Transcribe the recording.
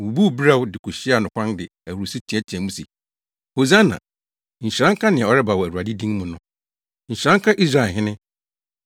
wobubuu berɛw de kohyiaa no kwan de ahurusi teɛteɛɛ mu se, “Hosiana!” “Nhyira nka nea ɔreba wɔ Awurade din mu no!” “Nhyira nka Israelhene!”